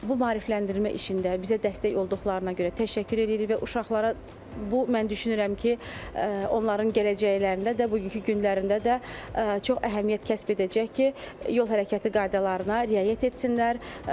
Bu maarifləndirmə işində bizə dəstək olduqlarına görə təşəkkür edirik və uşaqlara bu mən düşünürəm ki, onların gələcəklərində də, bugünkü günlərində də çox əhəmiyyət kəsb edəcək ki, yol hərəkəti qaydalarına riayət etsinlər.